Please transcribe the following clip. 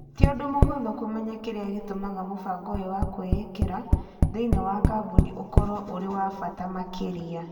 Ti ũndũ mũhũthũ kũmenya kĩrĩa gĩtũmaga mũbango ũyũ wa kũwĩkĩra thĩiniĩ wa kambuni ũkorũo ũrĩ wa bata makĩria.